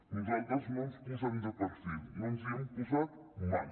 nosaltres no ens posem de perfil no ens hi hem posat mai